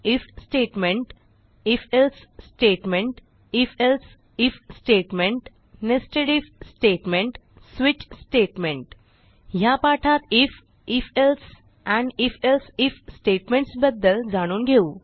if if else if else if nested if switch ह्या पाठात if if else and if else if statements बद्दल जाणून घेऊ